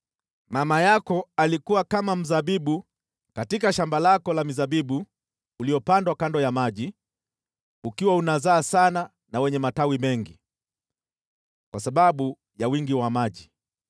“ ‘Mama yako alikuwa kama mzabibu katika shamba lako la mizabibu uliopandwa kando ya maji, ukiwa unazaa sana na wenye matawi mengi kwa sababu ya wingi wa maji.